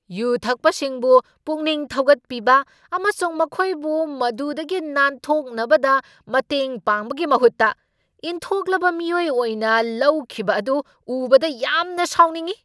U ꯊꯛꯄꯁꯤꯡꯕꯨ ꯄꯨꯛꯅꯤꯡ ꯊꯧꯒꯠꯄꯤꯕ ꯑꯃꯁꯨꯡ ꯃꯈꯣꯏꯕꯨ ꯃꯗꯨꯗꯒꯤ ꯅꯥꯟꯊꯣꯛꯅꯕꯗ ꯃꯇꯦꯡ ꯄꯥꯡꯕꯒꯤ ꯃꯍꯨꯠꯇ ꯏꯟꯊꯣꯛꯂꯕ ꯃꯤꯑꯣꯏ ꯑꯣꯏꯅ ꯂꯧꯈꯤꯕ ꯑꯗꯨ ꯎꯕꯗ ꯌꯥꯝꯅ ꯁꯥꯎꯅꯤꯡꯏ ꯫